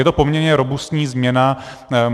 Je to poměrně robustní změna.